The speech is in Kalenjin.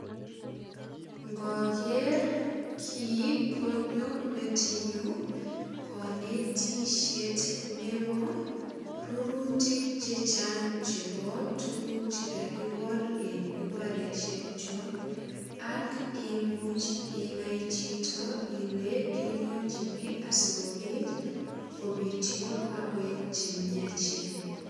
Ngoger kii konyo metinyu konetisiet nebo rurutik che chang chebo tuguk che kagigol en imbaresiekyok ak imuch inai chito ile kilionchini asigopit kopityo ak koek che miachen.